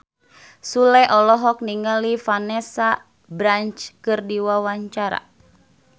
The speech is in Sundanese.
Sule olohok ningali Vanessa Branch keur diwawancara